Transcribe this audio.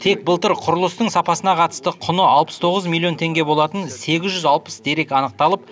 тек былтыр құрылыстың сапасына қатысты құны алпыс тоғыз миллион теңге болатын сегіз жүз алпыс дерек анықталып